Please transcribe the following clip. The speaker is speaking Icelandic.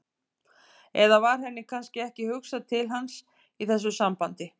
Eða var henni kannski ekki hugsað til hans í þessu sambandi?